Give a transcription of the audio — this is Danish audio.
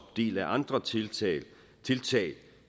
del af andre tiltag tiltag